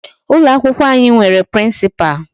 Ụlọ akwụkwọ anyị nwere Principal.